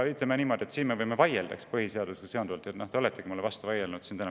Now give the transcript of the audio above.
Ütleme niimoodi, et põhiseadusega seonduva üle me võime vaielda, ja te oletegi mulle täna vastu vaielnud.